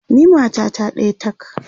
ni matata ɗaya tak!